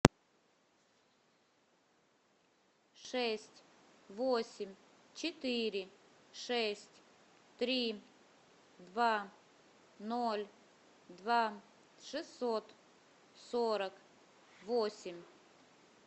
шесть восемь четыре шесть три два ноль два шестьсот сорок восемь